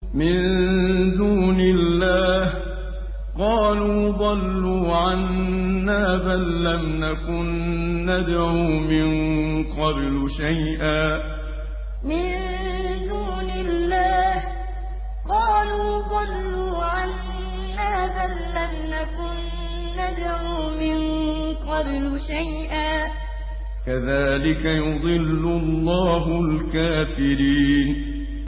مِن دُونِ اللَّهِ ۖ قَالُوا ضَلُّوا عَنَّا بَل لَّمْ نَكُن نَّدْعُو مِن قَبْلُ شَيْئًا ۚ كَذَٰلِكَ يُضِلُّ اللَّهُ الْكَافِرِينَ مِن دُونِ اللَّهِ ۖ قَالُوا ضَلُّوا عَنَّا بَل لَّمْ نَكُن نَّدْعُو مِن قَبْلُ شَيْئًا ۚ كَذَٰلِكَ يُضِلُّ اللَّهُ الْكَافِرِينَ